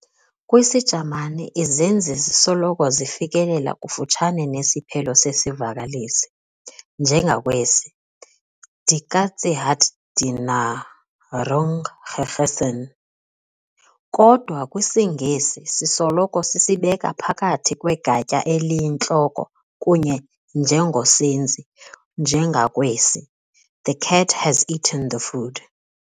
KwisiJamani, izenzi zisoloko zifikelela kufutshane nesiphelo sezivakalisi, njengakwesi- "Die Katze hat die Nahrung gegessen.", kodwa kwisiNgesi sisoloko sisibeka phakathi kwegatya eliyintloko kunye nenjongosenzi, njengakwesi- "the cat has eaten the food".